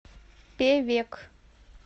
певек